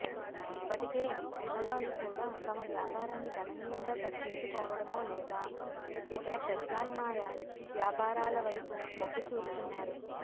ఇప్పటికే ఉన్నవాళ్లు కూడా తమవ్యాపారాన్ని గణనీయంగా తగ్గించుకోవడమో లేదా ఇతర ప్రత్యామ్న్యాయ వ్యాపారాల వైపు మొగ్గు చూపుతున్నారు